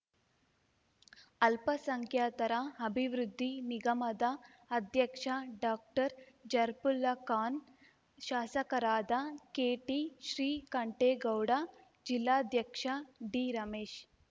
ಅಲ್ಪಸಂಖ್ಯಾತರ ಅಭಿವೃದ್ಧಿ ನಿಗಮದ ಅಧ್ಯಕ್ಷ ಡಾಕ್ಟರ್ಜರ್ಪುಲ್ಲಾಖಾನ್ ಶಾಸಕರಾದ ಕೆಟಿಶ್ರೀಕಂಠೇಗೌಡ ಜಿಲ್ಲಾಧ್ಯಕ್ಷ ಡಿರಮೇಶ್